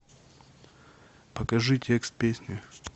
покажи текст песни